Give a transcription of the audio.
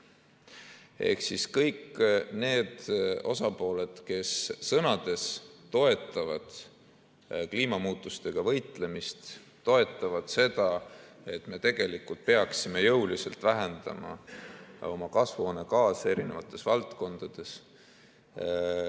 Ehk siis kõik need osapooled, kes sõnades toetavad kliimamuutustega võitlemist, toetavad seda, et me tegelikult peaksime jõuliselt vähendama kasvuhoonegaase eri valdkondades.